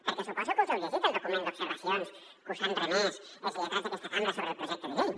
perquè suposo que us heu llegit el document d’observacions que us han remès els lletrats d’aquesta cambra sobre el projecte de llei